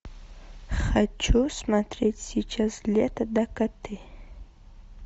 хочу смотреть сейчас лето дакоты